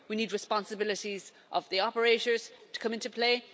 We need responsibilities of the operators to come into play.